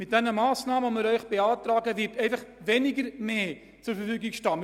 Mit den Massnahmen, die wir Ihnen beantragen, wird einfach «weniger Mehr» zur Verfügung stehen als heute;